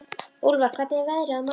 Úlfar, hvernig er veðrið á morgun?